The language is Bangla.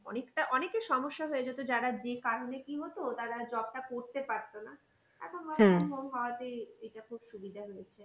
অনেকটা অনেকের সমস্যা হয়ে যেত যারা যে কারণে কি হতো তারা job টা করতে পারতো না। এখন হওয়াতে এটা খুব সুবিধা হয়েছে।